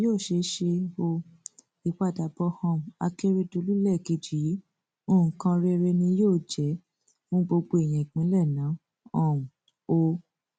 yóò ṣeé ṣe ọ ìpadàbọ um akérèdọlù lẹẹkejì yìí nǹkan rere ni yóò jẹ fún gbogbo èèyàn ìpínlẹ náà um o